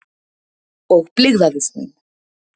Og blygðaðist mín.